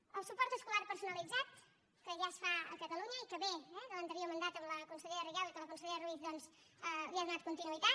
el suport escolar personalitzat que ja es fa a catalunya i que ve eh de l’anterior mandat amb la consellera rigau i que la consellera ruiz doncs li ha donat continuïtat